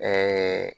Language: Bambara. Ɛɛ